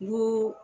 N go